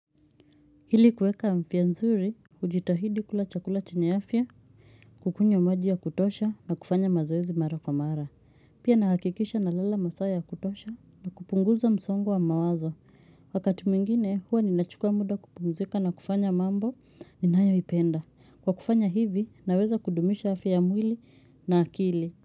Hili kuweka afia nzuri, hujitahidi kula chakula chenye afia, kukunywa maji ya kutosha na kufanya mazoezi mara kwa mara. Pia nahakikisha na lala masaa ya kutosha na kupunguza msongo wa mawazo. Wakati mwingine, huwa ninachukua muda kupumzika na kufanya mambo ninayoipenda. Kwa kufanya hivi, naweza kudumisha afya ya mwili na akili.